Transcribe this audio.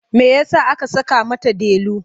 Me ya sa aka saka mata Delu?